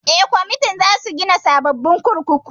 Eh, Gwamnatin za su gina sababbin kurkuku